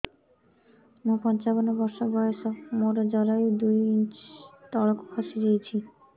ମୁଁ ପଞ୍ଚାବନ ବର୍ଷ ବୟସ ମୋର ଜରାୟୁ ଦୁଇ ଇଞ୍ଚ ତଳକୁ ଖସି ଆସିଛି